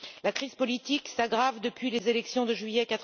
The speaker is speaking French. La crise politique s'aggrave depuis les élections de juillet